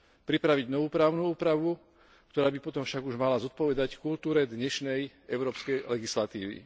pripraviť novú právnu úpravu, ktorá by potom však už mala zodpovedať kultúre dnešnej európskej legislatívy.